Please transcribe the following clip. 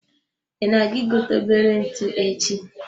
I na-aga I gote obere ntụ echi?